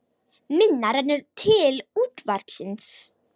Minna rennur til útvarpsins